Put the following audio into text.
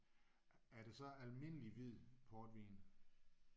Er det så almindelig hvid portvin?